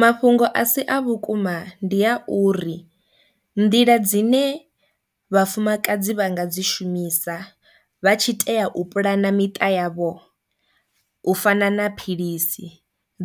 Mafhungo a si a vhukuma ndi a uri nḓila dzine vhafumakadzi vha nga dzi shumisa vha tshi tea u puḽana miṱa yavho u fana na philisi